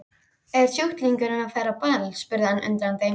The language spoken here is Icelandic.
Er sjúklingurinn að fara á ball? spurði hann undrandi.